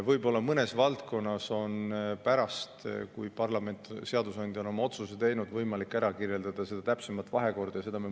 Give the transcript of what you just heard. Võib-olla mõnes valdkonnas on pärast seda, kui parlament, seadusandja on oma otsuse teinud, võimalik ära kirjeldada täpsem vahekord.